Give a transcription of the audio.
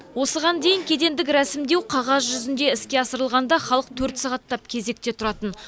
осыған дейін кедендік рәсімдеу қағаз жүзінде іске асырылғанда халық төрт сағаттап кезекте тұратын